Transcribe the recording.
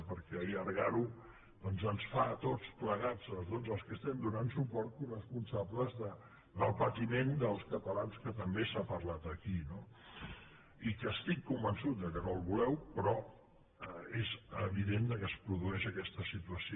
perquè allargar ho doncs ens fa a tots plegats a tots els que hi estem donant suport coresponsables del patiment dels catalans que també s’ha parlat aquí no i que estic convençut que no el voleu però és evident que es produeix aquesta situació